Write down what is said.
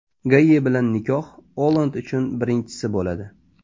Gayye bilan nikoh Olland uchun birinchisi bo‘ladi.